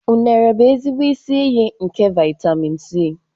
Unere bụ ezigbo isi iyi nke vitemin C.